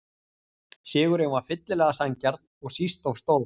Sigurinn var fyllilega sanngjarn og síst of stór.